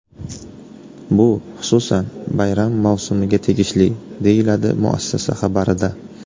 Bu, xususan, bayram mavsumiga tegishli”, deyiladi muassasa xabarida.